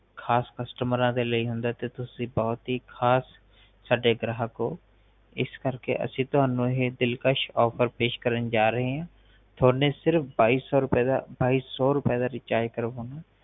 ਖਾਸ ਕੁਸਟੋਮਰਾ ਲਯੀ ਹਉਂਦਾ ਹੈ ਤੇ ਤੁਸੀ ਸਾਡੇ ਬੋਹਤ ਹੀ ਖਾਸ ਗ੍ਰਾਹਕ ਹੋ ਇਸ ਕਰਕਿ ਅਸੀਂ ਤੁਹਾਨੂੰ ਇਹ ਦਿਲਕਸ਼ ਆਫ਼ਰ ਪੇਸ਼ ਕਰਨ ਜਾ ਰਹੈ ਆ ਤੁਹਾਡੇ ਸਿਰਫ ਬਾਈ ਸੋ ਬਾਈ ਸੋ ਰੁਪਏ ਦਾ ਰਿਚਾਰਜ ਕਰਾਉਣਾ